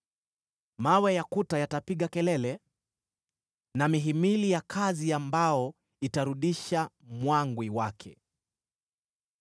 Mawe ya kuta yatapiga kelele, na mihimili ya kazi ya mbao itarudisha mwangwi wake.